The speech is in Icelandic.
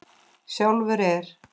Sjálfur er